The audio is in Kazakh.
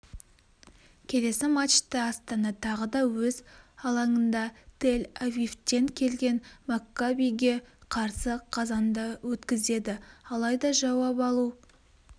келесі матчты астана тағы да өз алаңында тель-авивтен келген маккабиге қарсы қазанда өткізеді алайда жауап алу